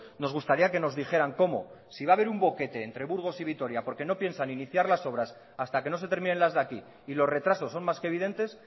nos gustaría que nos dijeran cómo van a conseguir conectarnos si va haber un boquete entre burgos y vitoria porque no piensan iniciar las obras hasta que no se terminen las de aquí y los retrasos son más que evidentes